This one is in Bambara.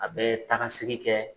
A bɛ takasegi kɛ